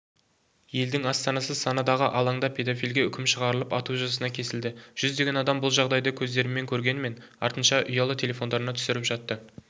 елдің астанасы санадағы алаңда педофилге үкім шығарылып ату жазасына кесілді жүздеген адам бұл жағдайды көздерімен көргенімен артынша ұялы телефондарына түсіріп жатты